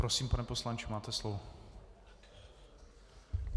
Prosím, pane poslanče, máte slovo.